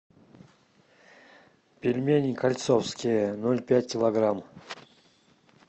пельмени кольцовские ноль пять килограмм